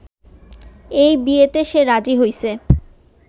এই বিয়েতে সে রাজি হইসে